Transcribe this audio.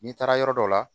N'i taara yɔrɔ dɔ la